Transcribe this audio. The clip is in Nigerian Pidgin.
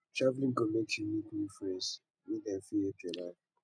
traveling go make you meet new friend dem wey fit help your life